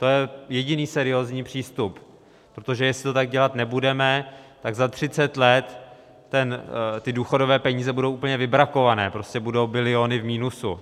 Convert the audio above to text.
To je jediný seriózní přístup, protože jestli to tak dělat nebudeme, tak za 30 let ty důchodové peníze budou úplně vybrakované, prostě budou biliony v minusu.